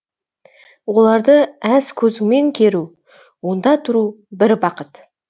оларды әз көзіңмен керу онда тұру бір бақыт